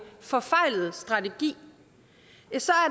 forfejlet strategi